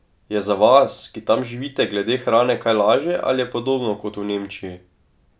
Je za vas, ki tam živite, glede hrane kaj lažje ali je podobno kot v Nemčiji?